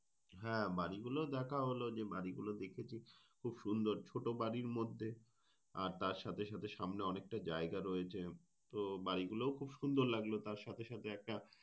হ্যাঁ বাড়িগুলো দেখা হল যে বাড়িগুলো দেখেছি খুব সুন্দর। ছোট বাড়ীর মধ্যে আর তার সাথে সাথে সামনে অনেকটা জায়গা রয়েছে। তো বাড়িগুলো খুব সুন্দর লাগলো তার সাথে সাথে একটা,